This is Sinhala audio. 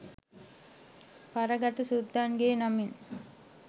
පරගැති සුද්දන්ගෙ නමින්.